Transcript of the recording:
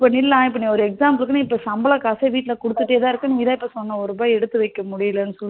இப்போ ஒரு example க்கு நீ இப்ப சம்பள காச வீட்டுல குடுத்துட்டே இருக்க நீதா ஒரு ரூபா எடுத்து வைக்க முடியலனு சொல்ற